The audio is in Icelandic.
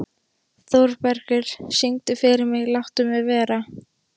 Þórbergur, syngdu fyrir mig „Láttu mig vera“.